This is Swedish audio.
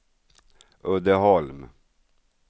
Uddeholm